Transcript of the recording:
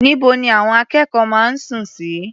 Níbo ni àwọn akẹ́kọ̀ọ́ máa ń sùn sí?